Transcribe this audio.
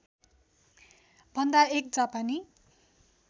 भन्दा एक जापानी